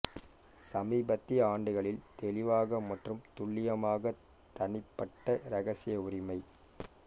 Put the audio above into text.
சமீபத்திய ஆண்டுகளில் தெளிவாக மற்றும் துல்லியமாக தனிப்பட்ட இரகசிய உரிமை